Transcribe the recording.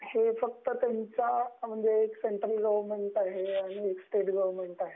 हे फ़क्त central government